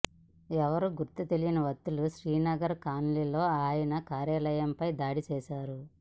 ఎవరో గుర్తు తెలియని వ్యక్తులు శ్రీనగర్ కాలనీలోని ఆయన కార్యాలయంపై దాడి చేసారు